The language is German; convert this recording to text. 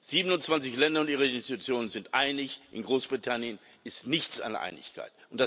27 Länder und ihre Institutionen sind sich einig, in Großbritannien ist nichts an Einigkeit.